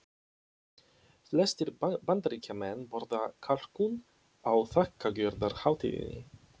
Flestir Bandaríkjamenn borða kalkún á þakkargjörðarhátíðinni.